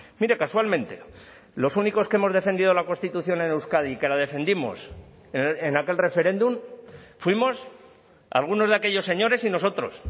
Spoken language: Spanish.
mire casualmente los únicos que hemos defendido la constitución en euskadi y que la defendimos en aquel referéndum fuimos algunos de aquellos señores y nosotros